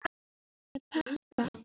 Fæ ég pakka?